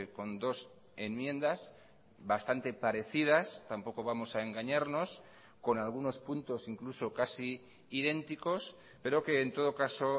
con dos enmiendas bastante parecidas tampoco vamos a engañarnos con algunos puntos incluso casi idénticos pero que en todo caso